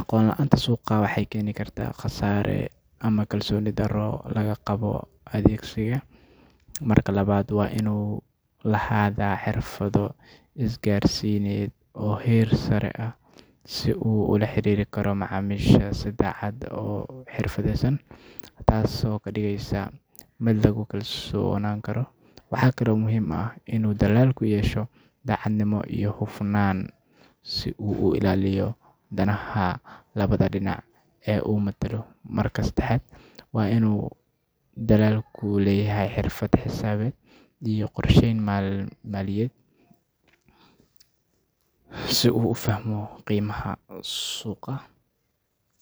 Aqoon la’aanta suuqa waxay keeni kartaa khasaare ama kalsooni darro laga qabo adeeggiisa. Marka labaad, waa inuu lahaadaa xirfado isgaarsiineed oo heer sare ah si uu ula xiriiri karo macaamiisha si cad oo xirfadeysan, taasoo ka dhigeysa mid lagu kalsoonaan karo. Waxaa kale oo muhiim ah in uu dilaalku yeesho daacadnimo iyo hufnaan, si uu u ilaaliyo danaha labada dhinac ee uu matalo. Marka saddexaad, waa in uu dilaalku leeyahay xirfad xisaabeed iyo qorsheyn maaliyadeed, si uu u fahmo qiimaha suuqa.